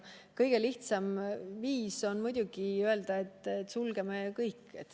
Kõige lihtsam viis on muidugi öelda, et sulgeme kõik.